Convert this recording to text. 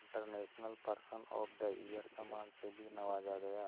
international person of the year सम्मान से भी नवाजा गया